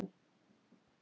Hún var hrein og bein.